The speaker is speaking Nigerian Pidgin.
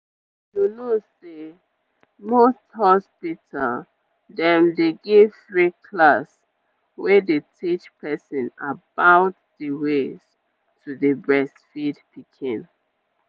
you know say most hospital dem dey give free class wey dey teach person about the ways to dey breastfeed pikin.